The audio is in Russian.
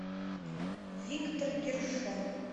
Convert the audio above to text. виктор гершон